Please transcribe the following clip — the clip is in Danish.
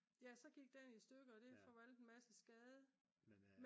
ja så gik den i stykker og det forvoldt en masse skade